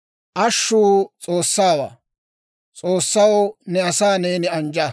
Ashshuu S'oossaawaa; S'oossaw, ne asaa neeni anjja.